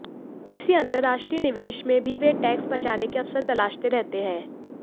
किसी अंतरराष्ट्रीय निवेश में भी वे टैक्स बचाने के अवसर तलाशते रहते हैं